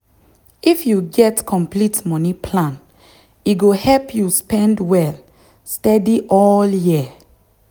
if um you check check other um online shops you fit see electronics wey um cheap pass.